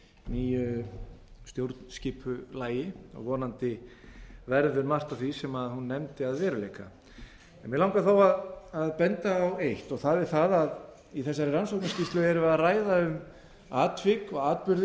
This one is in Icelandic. nýju stjórnskipulagi og vonandi verður margt af því sem hún nefndi að veruleika mig langar þó að benda á eitt og það er það að í þessari rannsóknarskýrslu erum við að ræða um atvik og atburði